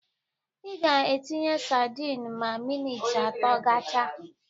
Ị ga-etinye sadin ma minit atọ gachaa